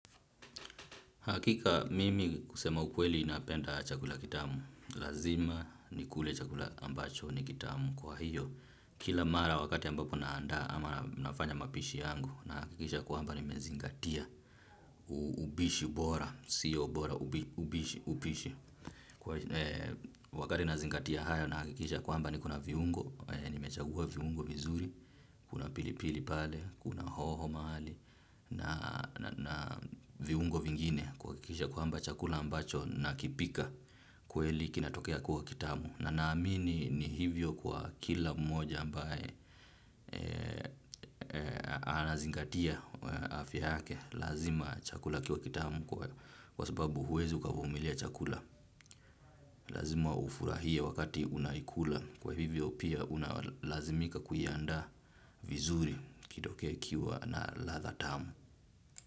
Hakika mimi kusema ukweli napenda chakula kitamu, lazima nikule chakula ambacho ni kitamu kwa hiyo, kila mara wakati ambapo naandaa ama nafanya mapishi yangu, nahakikisha kwamba nimezingatia upishi bora, sio bora, upishi, upishi. Wakati nazingatia haya nahakikisha kwamba niko na viungo nimechagua viungo vizuri, kuna pilipili pale, kuna hoho mahali. Na viungo vingine kuhakikisha kwamba chakula ambacho nakipika kweli kinatokea kuwa kitamu. Na naamini ni hivyo kwa kila mmoja ambaye anazingatia afya yake. Lazima chakula kiwe kitamu kwa sababu huwezi ukavumilia chakula. Lazima ufurahie wakati unaikula kwa hivyo pia unalazimika kuiandaa vizuri kitokee ikiwa na ladha tamu.